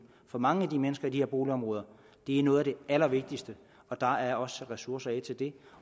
for mange af de mennesker i de her boligområder er noget af det allervigtigste der er også sat ressourcer af til det